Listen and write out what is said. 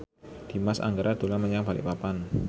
Dimas Anggara dolan menyang Balikpapan